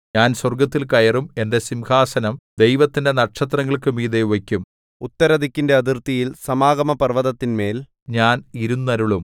ഞാൻ സ്വർഗ്ഗത്തിൽ കയറും എന്റെ സിംഹാസനം ദൈവത്തിന്റെ നക്ഷത്രങ്ങൾക്കു മീതെ വയ്ക്കും ഉത്തരദിക്കിന്റെ അതിർത്തിയിൽ സമാഗമപർവ്വതത്തിന്മേൽ ഞാൻ ഇരുന്നരുളും